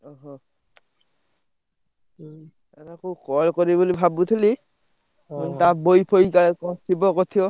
ଓହୋ! ହୁଁ ତମୁକୁ call କରିବି ବୋଲି ଭାବୁଥିଲି। ତା ବହି ଫହି କାଳେ କଣ ଥିବ କରିଥିବ।